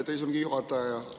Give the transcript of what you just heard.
Aitäh, istungi juhataja!